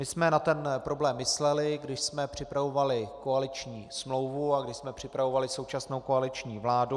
My jsme na ten problém mysleli, když jsme připravovali koaliční smlouvu a když jsme připravovali současnou koaliční vládu.